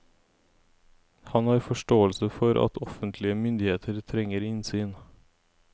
Han har forståelse for at offentlige myndigheter trenger innsyn.